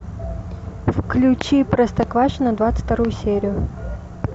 включи простоквашино двадцать вторую серию